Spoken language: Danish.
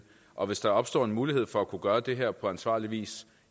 og hvis der opstår en mulighed for at kunne gøre det her på ansvarlig vis